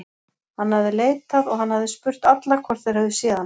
Hann hafði leitað og hann hafði spurt alla hvort þeir hefðu séð hana.